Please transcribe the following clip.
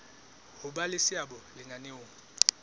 ho ba le seabo lenaneong